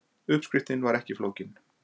Uppskriftin var ekki flókin